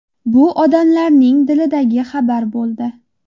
Bu odamlarning dilidagi xabar bo‘ldi.